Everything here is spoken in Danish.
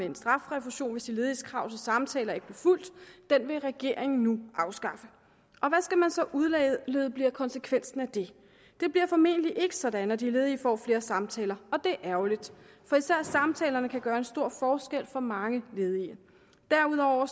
en strafrefusion hvis de lediges krav til samtaler ikke blev fulgt den vil regeringen nu afskaffe hvad skal man så udlede bliver konsekvensen af det det bliver formentlig ikke sådan at de ledige får flere samtaler og det er ærgerligt for især samtalerne kan gøre en stor forskel for mange ledige derudover